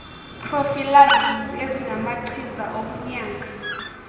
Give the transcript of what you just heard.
prophylaxis ezingamachiza okunyanga